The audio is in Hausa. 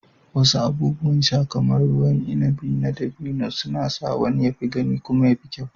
Wasu abubuwan sha kamar ruwan inabi na dabino suna sa wani ya fi gani kuma ya fi kyau.